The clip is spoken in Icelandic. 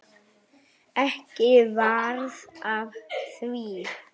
Ekki varð af því.